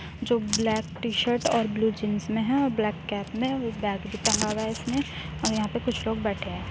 जो black T shirt और blue jeans में है और ब्लैक कैप में बैग भी टांगा हुआ है इसने और यहाँ पर कुछ लोग बैठे है।